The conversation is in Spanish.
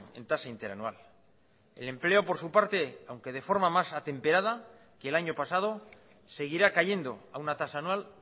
en tasa interanual el empleo por su parte aunque de forma más atemperada que el año pasado seguirá cayendo a una tasa anual